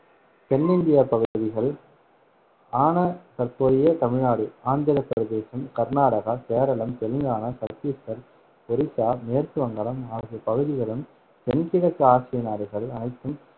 தென் India பகுதிகள் ஆன தற்போதைய தமிழ்நாடு, ஆந்திர பிரதேசம், கர்நாடகா, கேரளம், தெலுங்கானா, சத்தீஸ்கர், ஒரிசா, மேற்கு வங்காளம் ஆகிய பகுதிகளும், தென் கிழக்கு ஆசிய நாடுகள் அனைத்தும்